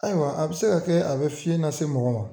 Ayiwa a be se ka kɛ a be fiye lase mɔgɔ ma